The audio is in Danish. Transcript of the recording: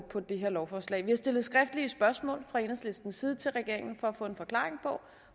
på det her lovforslag vi har stillet skriftlige spørgsmål fra enhedslistens side til regeringen for at få en forklaring på